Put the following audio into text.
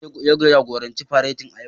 Laftanar ne ya jagoranci faretin a yau.